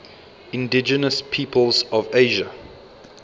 indigenous peoples of asia